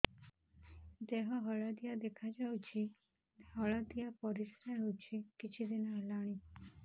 ଦେହ ହଳଦିଆ ଦେଖାଯାଉଛି ହଳଦିଆ ପରିଶ୍ରା ହେଉଛି କିଛିଦିନ ହେଲାଣି